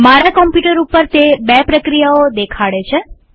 મારા કમ્પ્યુટર ઉપર તે બે પ્રક્રિયાઓ દેખાડે છે